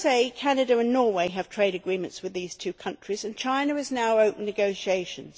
The US, Canada and Norway have trade agreements with these two countries and China is now opening negotiations.